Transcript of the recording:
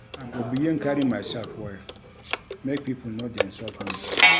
I go begin carry mysef well, make pipo no dey insult me.